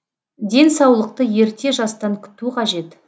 денсаулықты ерте жастан күту қажет